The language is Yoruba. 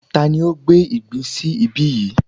Tani ó gbé ìgbín sí ibí yìí?